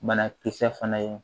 Banakisɛ fana ye